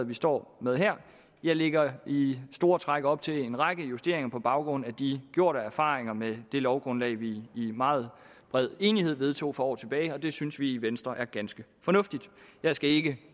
vi står med her lægger i store træk op til en række justeringer på baggrund af de gjorte erfaringer med det lovgrundlag vi i meget bred enighed vedtog for år tilbage og det synes vi i venstre er ganske fornuftigt jeg skal ikke